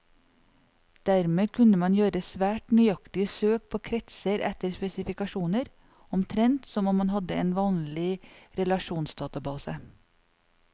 Dermed kunne man gjøre svært nøyaktige søk på kretser etter spesifikasjoner, omtrent som om man hadde en vanlig relasjonsdatabase.